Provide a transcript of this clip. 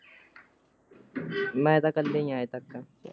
ਮੈਂ ਤਾਂ ਕਲੇ ਹੀ ਹਾਂ ਅਜੇ ਤਕ ਤਾਂ।